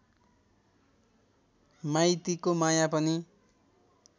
माइतीको माया पनि